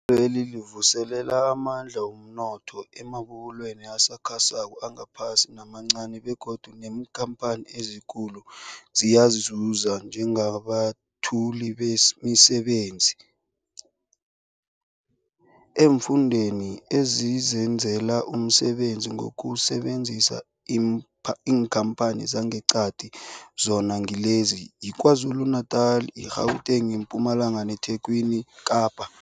Ihlelweli livuselela amandla womnotho emabubulweni asakhasako, aphakathi namancani begodu neenkhamphani ezikulu ziyazuza njengabethuli bemisebenzi eemfundeni ezizenzela umsebenzi ngokusebenzisa iinkhamphani zangeqadi, zona ngilezi, yiKwaZulu-Natala, i-Gauteng, iMpumalanga neTlhagwini Kapa.